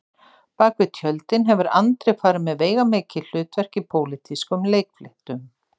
Bak við tjöldin hefur Andri farið með veigamikil hlutverk í pólitískum leikfléttum